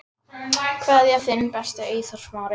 Kveðja, þinn besti, Eyþór Smári.